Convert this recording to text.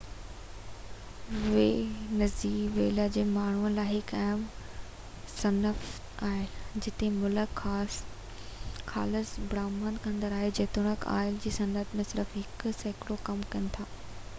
Venezuela جي ماڻهن لاءِ هڪ اهم صنعت آئل آهي جتي ملڪ خالص برآمد ڪندڙ آهي جيتوڻيڪ آئل جي صنعت ۾ صرف هڪ سيڪڙو ڪم ڪن ٿا